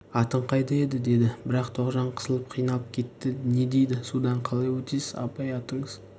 атың қайда еді деді бірақ тоғжан қысылып қиналып кетті не дейді судан қалай өтесіз абай атыңыз